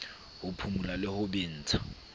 ho phumula le ho bentsha